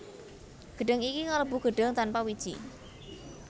Gedhang iki kalebu gedhang tanpa wiji